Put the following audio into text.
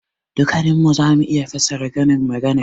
Dukkannin mu za mu iya fassara karin maganar.